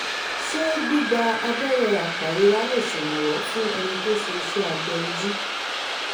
ṣé gbígba abẹ́rẹ́ apàrora lè ṣèrànwọ́ fún ẹni tó ṣe iṣẹ́ abẹ ojú?